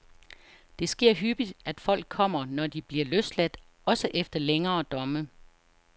Det sker hyppigt, at folk kommer, når de bliver løsladt, også efter længere domme.